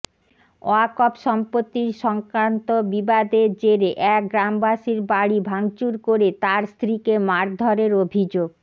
ওয়াকফ সম্পত্তি সংক্রান্ত বিবাদের জেরে এক গ্রামবাসীর বাড়ি ভাঙচুর করে তাঁর স্ত্রীকে মারধরের অভিযোগ